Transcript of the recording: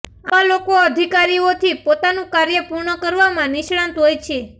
આવા લોકો અધિકારીઓથી પોતાનું કાર્ય પૂર્ણ કરવામાં નિષ્ણાત હોય છે